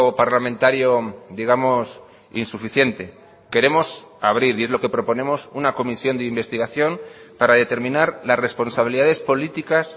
parlamentario digamos insuficiente queremos abrir y es lo que proponemos una comisión de investigación para determinar las responsabilidades políticas